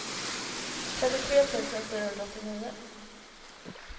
trettiotre tusen fyrahundraåttionio